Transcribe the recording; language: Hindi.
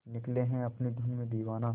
निकले है अपनी धुन में दीवाना